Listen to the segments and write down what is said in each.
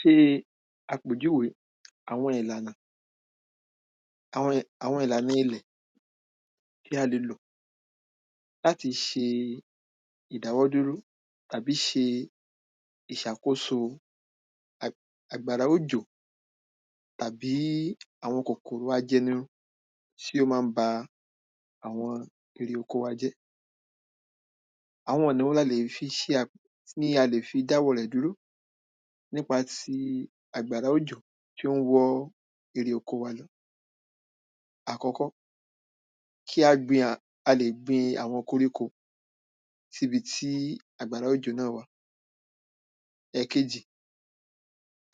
se àpèjúwe àwọn ìlànà, àwọn ìlànà ilẹ̀ tí a lè lò láti se ìdáwọ́dúró tàbí se ìsàkóso àgbàrá òjò tàbí àwọn kòkòrò ajẹnirun tí ó má n ba àwọn eré oko wa jẹ́, àwọn ọ̀nà wo ni a lè fi se, tí a lè fi dáwọ́ọ rẹ̀ dúró nípa ti àgbàrá òjò tí ón wọ́ eré oko wa lọ àkọ́kọ́, kí á gbin, a lè gbin àwọn koríko síbi tí àgbàrá òjò náà wâ, ẹ̀kejí,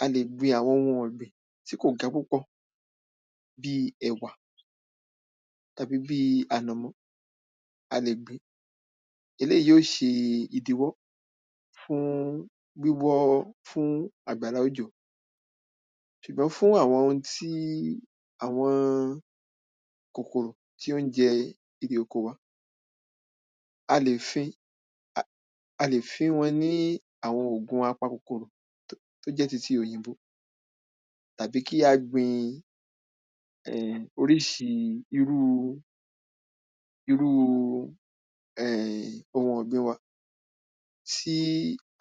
a lè gbin àwọn oun ọ̀gbìn tí kò ga púpò, bíi ẹ̀wà tàbí bí ànọ̀mọ́, a lè gbin, eléyìí ó se ìdíwọ́ fún wíwọ́, fún àgbàrá òjò sùgbọ́n fún àwọn oun tí, àwọn kòkòrò tí ón jẹ eré oko wa, a lè fin, a lè fín wọn ní àwọn ògùn apakòkòrò tó jẹ́ titi òyìnbó tàbí kí á gbin um orísi irúu, irúu um oun ọ̀gbìn wa, tí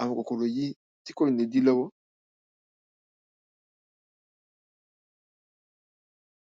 àwọn kòkòrò yìí, tí kò ní di lọ́wọ́